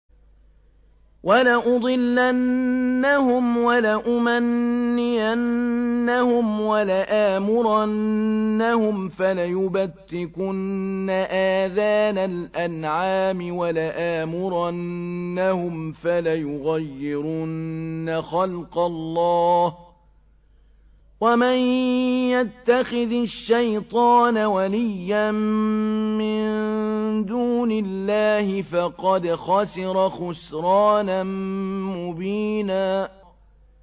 وَلَأُضِلَّنَّهُمْ وَلَأُمَنِّيَنَّهُمْ وَلَآمُرَنَّهُمْ فَلَيُبَتِّكُنَّ آذَانَ الْأَنْعَامِ وَلَآمُرَنَّهُمْ فَلَيُغَيِّرُنَّ خَلْقَ اللَّهِ ۚ وَمَن يَتَّخِذِ الشَّيْطَانَ وَلِيًّا مِّن دُونِ اللَّهِ فَقَدْ خَسِرَ خُسْرَانًا مُّبِينًا